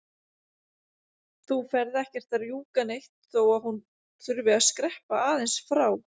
Þú ferð ekkert að rjúka neitt þó að hún þurfi að skreppa aðeins frá!